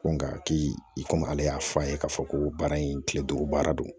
Ko nka ki i komi ale y'a fɔ a ye k'a fɔ ko baara in kile duuru baara don